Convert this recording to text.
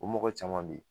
O mɔgɔ caman be yen